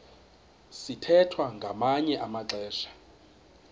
sithwethwa ngamanye amaxesha